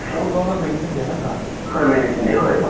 অও । তুমি এনে ধৰা